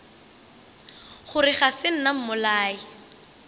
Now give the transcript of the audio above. gore ga se nna mmolai